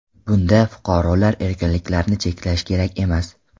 Bunda fuqarolar erkinliklarini cheklash kerak emas”.